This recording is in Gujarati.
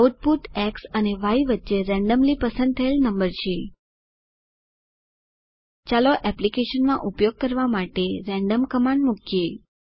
આઉટપુટ એક્સ અને વાય વચ્ચે રેન્ડમલી પસંદ થયેલ નંબર છે ચાલો એપ્લિકેશનમાં ઉપયોગ કરવા માટે રેન્ડમ કમાન્ડ મુકીએ